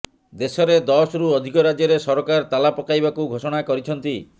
ଦେଶରେ ଦଶରୁ ଅଧିକ ରାଜ୍ୟରେ ସରକାର ତାଲା ପକାଇବାକୁ ଘୋଷଣା କରିଛନ୍ତି